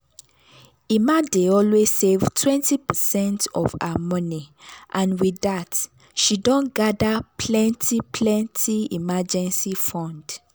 emma dey always save 20 percent of her money and with that she don gather plenty plenty emergency fund.